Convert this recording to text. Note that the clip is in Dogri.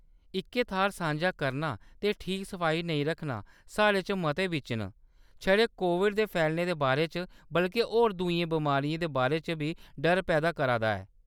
इक्कै थाह्‌‌‌र सांझा करना ते ठीक सफाई नेईं रक्खना साढ़े चा मतें बिच्च ना छड़े कोविड दे फैलने दे बारे च बल्के होर दूइयें बमारियें दे बारे च बी डर पैदा करा दा ऐ।